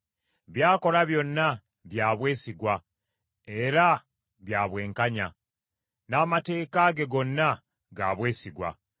By’akola byonna bya bwesigwa era bya bwenkanya; n’amateeka ge gonna ga bwesigwa,